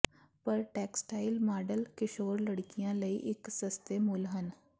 ਪਰ textile model ਕਿਸ਼ੋਰ ਲੜਕੀਆਂ ਲਈ ਇੱਕ ਸਸਤੇ ਮੁੱਲ ਹਨ